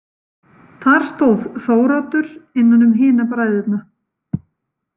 Þar stóð Þóroddur innan um hina bræðurna.